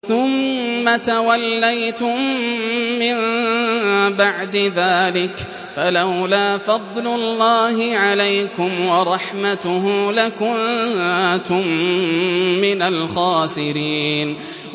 ثُمَّ تَوَلَّيْتُم مِّن بَعْدِ ذَٰلِكَ ۖ فَلَوْلَا فَضْلُ اللَّهِ عَلَيْكُمْ وَرَحْمَتُهُ لَكُنتُم مِّنَ الْخَاسِرِينَ